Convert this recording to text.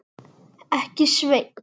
Ekki, Sveinn.